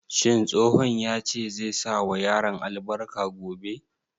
Shin tsohon ya ce zai sa wa yaran albarka gobe?